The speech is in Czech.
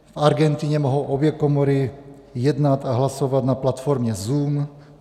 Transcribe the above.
V Argentině mohou obě komory jednat a hlasovat na platformě Zoom.